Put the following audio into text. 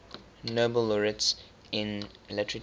nobel laureates in literature